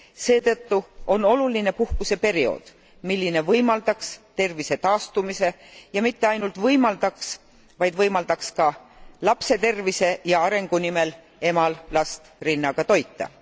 Seetõttu on oluline puhkuseperiood, mis võimaldaks tervise taastumist ja mitte ainult seda, vaid võimaldaks ka lapse tervise ja arengu nimel emal last rinnaga toita.